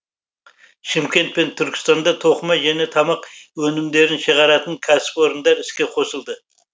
шымкент пен түркістанда тоқыма және тамақ өнімдерін шығаратын кәсіпорындар іске қосылды